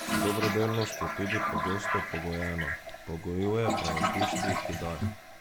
Dobrodelnost je tudi pogosto pogojena, pogojuje pa jo tisti, ki daje.